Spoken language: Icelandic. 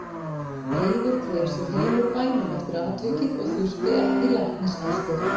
Eiður dreif sig heim úr bænum eftir atvikið og þurfti ekki læknisaðstoð.